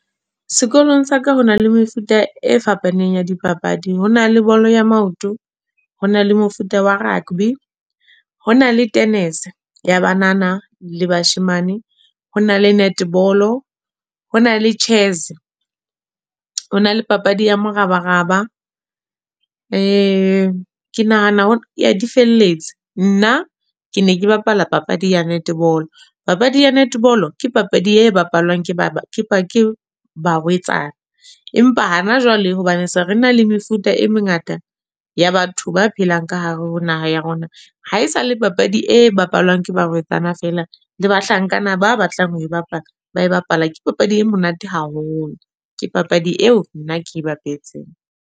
Sekolong sa ka ho na le mefuta e fapaneng ya dipapadi. Ho na le bolo ya maoto, ho na le mefuta wa rugby. Ho na le tennis, ya banana le bashemane. Ho na le netball, ho na le chess. Ho na le papadi ya morabaraba. Ke nahana ya di felletse. Nna ke ne ke bapala papadi ya netball. Papadi ya netball ke papadi e bapalwang ke barwetsana. Empa hana jwale hobane se re na le mefuta e mengata ya batho ba phelang ka hare ho naha ya rona. Ha esale papadi e bapalwang ke barwetsana fela le bahlankana ba batlang ho e bapala, ba e bapala. Ke papadi e monate haholo. Ke papadi eo nna ke bapetseng.